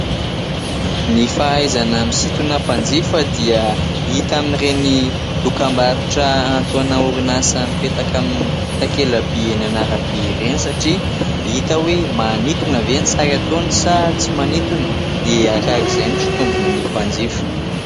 Ny fahaizana misintona mpanjifa dia hita amin'ny ireny dokambarotra atao ireny orinasa mipetaka amin'ny ireny takelam-by eny an'arabe ireny, satria hita oe manitona vé sary ataony sa tsy manintona dia arakaraka izay fitombony mpanjifa.